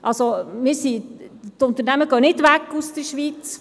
Also, die Unternehmen gehen nicht weg aus der Schweiz.